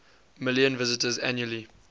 million visitors annually